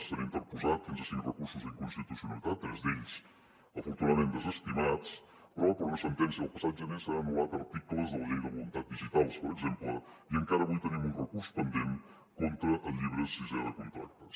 s’han interposat fins a cinc recursos d’inconstitucionalitat tres d’ells afortunadament desestimats però per una sentència del passat gener s’han anul·lat articles de la llei de voluntats digitals per exemple i encara avui tenim un recurs pendent contra el llibre sisè de contractes